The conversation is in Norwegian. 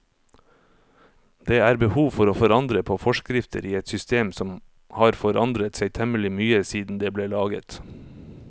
Det er behov for å forandre på forskrifter i et system som har forandret seg temmelig mye siden det ble laget.